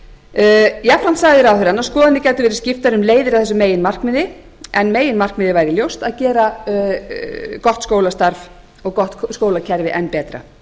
málin jafnframt sagði ráðherrann að skoðanir gætu verið skiptar um leiðir að þessu meginmarkmiði en meginmarkmiðið væri ljóst að gera gott skólastarf og gott skólakerfi enn betra